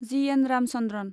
जि. N. Ramachandran